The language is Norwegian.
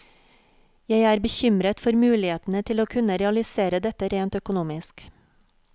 Jeg er bekymret for mulighetene til å kunne realisere dette rent økonomisk.